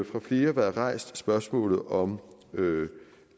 fra flere været rejst spørgsmålet om